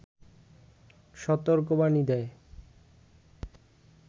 সতর্কবাণী দেয়